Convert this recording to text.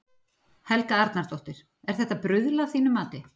Helga Arnardóttir: Er þetta bruðl að þínu mati?